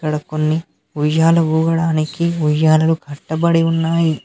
అక్కడ కొని ఉయ్యాల ఊగడానికి ఉయ్యాలను కట్టబడి ఉన్నాయి.